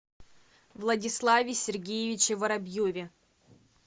владиславе сергеевиче воробьеве